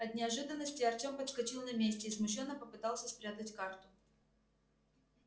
от неожиданности артём подскочил на месте и смущённо попытался спрятать карту